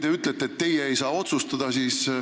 Te ütlete, et teie ei saa otsustada.